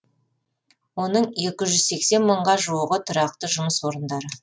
оның екі жүз сексен мыңға жуығы тұрақты жұмыс орындары